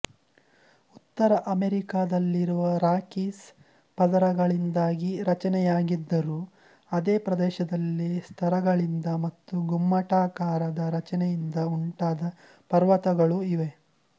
ಉತ್ತರ ಅಮೆರಿಕಾದಲ್ಲಿರುವ ರಾಕೀಸ್ ಪದರಗಳಿಂದಾಗಿ ರಚನೆಯಾಗಿದ್ದರೂ ಅದೇ ಪ್ರದೇಶದಲ್ಲಿ ಸ್ತರಗಳಿಂದ ಮತ್ತು ಗುಮ್ಮಟಾಕಾರದ ರಚನೆಯಿಂದ ಉಂಟಾದ ಪರ್ವತಗಳೂ ಇವೆ